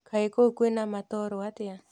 Kaĩ kũu kwĩna matoro atĩa